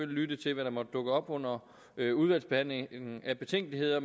lytte til hvad der måtte dukke op under udvalgsbehandlingen af betænkeligheder